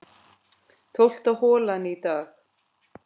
Tólfta holan í dag